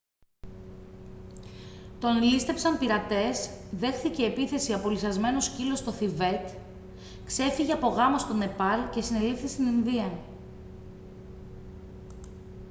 τον λήστεψαν πειρατές δέχθηκε επίθεση από λυσσασμένο σκύλο στο θιβέτ ξέφυγε από γάμο στο νεπάλ και συνελήφθη στην ινδία